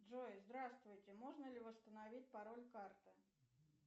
джой здравствуйте можно ли восстановить пароль карты